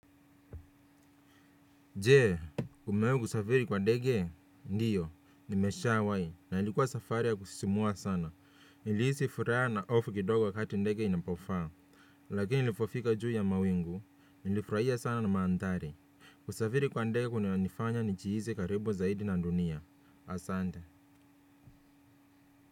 Je, umewahi kusafiri kwa ndege, ndio, nimesha wahi na ilikuwa safari ya kusisimua sana niliisi furaha na hofu kidogo kati ndege inapofaa, lakini nilipofika juu ya mawingu, nilifurahia sana na mandhari, kusafiri kwa ndege kuna nifanya njihizi karibu zaidi na dunia, asante.